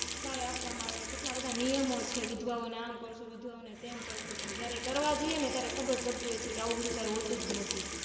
સહાય આપવામાં આવે છે કેટલા બધા નિયમો છે વિધવાઓને આમ કરશું તેમ કરશું પણ જયારે કરવા જઈ ત્યારે ખબર પડતી હોય છે આવું બધું કાય હોતુજ નથી